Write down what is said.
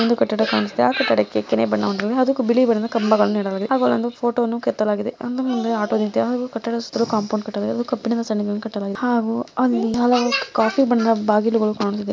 ಇಲ್ಲಿ ಒಂದು ಕಟ್ಟಡ ಕಾಣುತ್ತಾ ಇದೆ ಆ ಕಟ್ಟಡಕ್ಕೆ ಕರಿ ಬಣ್ಣವನ್ನು ಹೊಡೆಯಲಾಗಿದೆ ಹಾಗೂ ಬಿಳಿ ಬಣ್ಣದ ಕಂಬಗಳು ಇಡಲಾಗಿದೆ ಹಾಗೂ ಪೋಟೋವನ್ನು ಕೆತ್ತಲಾಗಿದೆ ಒಂದು ಮೂಲೆಯಲ್ಲಿ ಆಟೋ ನಿಂತಿದೆ ಹಾಗೂ ಕಟ್ಟಡಸ್ಥರು ಕಾಂಪೌಂಡ್ ಕಟ್ಟಲಾಗಿದೆ ಅದು ಕಬ್ಬಿಣದ ಸಲಾಕೆಯನ್ನು ಕಟ್ಟಲಾಗಿದೆ ಹಾಗೂ ಅವಿ ಕಾಫಿ ಬಣ್ಣದ ಬಾಗಿಲುಗಳು ಕಾಣುತ್ತಾ ಇದ್ದಾವೆ.